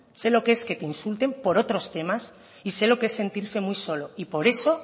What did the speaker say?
se lo que es que te insulten por otros temas y sé lo que es sentirse muy solo y por eso